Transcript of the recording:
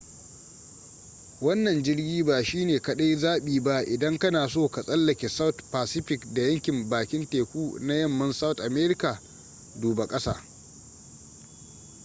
wannan jirgi ba shi ne kadai zabi ba idan kana so ka tsallake south pacific da yankin bakin teku na yamman south america. duba kasa